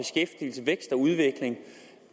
udvikling